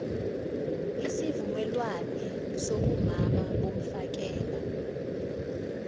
isivumelwane sobumama bomfakela